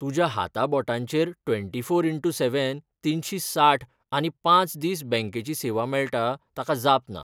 तुज्या हाताबोटांचेर twenty four into seven, तीनशी साठ आनी पांच दीस बँकिंगेची सेवा मेळटा ताका जाप ना.